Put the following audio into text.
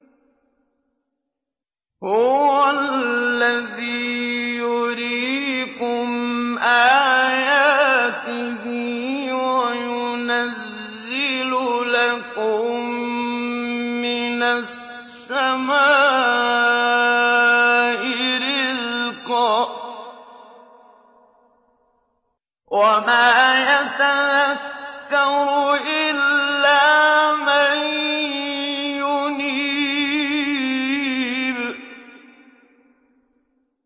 هُوَ الَّذِي يُرِيكُمْ آيَاتِهِ وَيُنَزِّلُ لَكُم مِّنَ السَّمَاءِ رِزْقًا ۚ وَمَا يَتَذَكَّرُ إِلَّا مَن يُنِيبُ